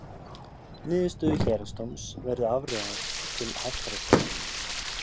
Niðurstöðu Héraðsdóms verður áfrýjað til Hæstaréttar